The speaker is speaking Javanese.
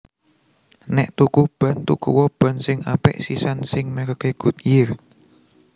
Nek tuku ban tuku o ban sing apik sisan sing merk e Goodyear